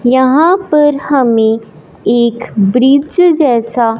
यहां पर हमें एक ब्रिज जैसा--